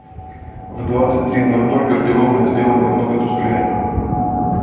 в двадцать три ноль ноль гардеробная сделать немного тусклее